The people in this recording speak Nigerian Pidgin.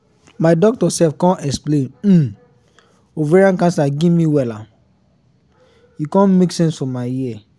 my doctor sef con explain um ovarian cancer give me wella e con make sense for my ear